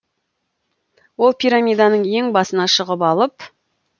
ол пирамиданың ең басына шығып алып